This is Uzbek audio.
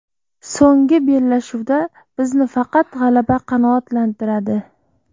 So‘nggi bellashuvda bizni faqat g‘alaba qanoatlantiradi.